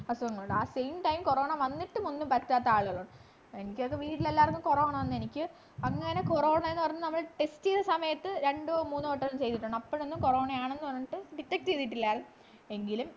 അസുഖങ്ങളുണ്ട് ആ same time corona വന്നിട്ട് ഒന്നും പറ്റാത്ത ആളുകളുണ്ട് എനിക്കപ്പോ വീട്ടിലെല്ലാവർക്കും corona വന്നു എനിക്ക് അങ്ങനെ corena കാരണം നമ്മള് test ചെയ്ത സമയത് രണ്ടോ മൂന്നോ വട്ടം ചെയ്തിട്ടുണ്ടാകും അപ്പൊളൊന്നും corona യാണെന്ന് പറഞ്ഞിട്ട് detect ചെയ്തിട്ടില്ലായിരുന്നു എങ്കിലും